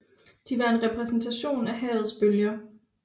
De var en repræsentation af havets bølger